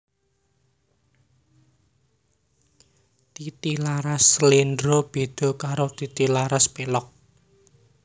Titilaras Sléndro béda karo titilaras pélog